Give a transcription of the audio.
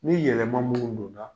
Ni yɛlɛma minnu donna